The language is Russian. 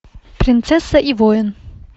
принцесса и воин